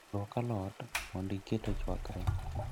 Luok alot mondo iket ochwakre